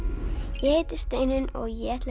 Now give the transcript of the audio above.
ég heiti Steinunn og ég ætla að